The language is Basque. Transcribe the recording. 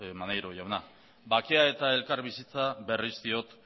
maneiro jauna bakea eta elkarbizitza berriz diot